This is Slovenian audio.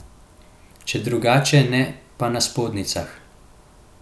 Če drugače ne, pa na spodnjicah.